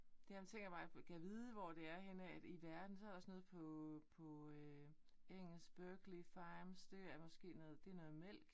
Ja men tænker bare på gad vide hvor det er henne af i verden? Så er der også noget på på øh engelsk Berkeley Farms det er måske noget det er noget mælk